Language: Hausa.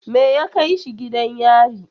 Me ya kai shi gidan yari?